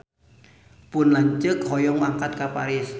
Pun lanceuk hoyong angkat ka Paris